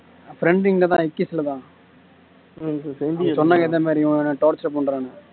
friends இங்க தான் heckys Latha சொன்னாங்க இந்த மாதிரி இவன் என்ன torture பண்றான்னு